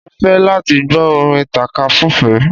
Mo ń fẹ́ láti gbọ́ orin tàka-súfeé